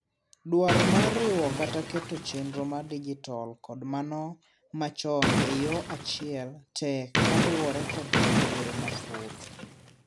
dwaro mar riwo kata keto chenro mar dijital kod mano machon e yoo achiel tek kaluwore kod midhiero mathoth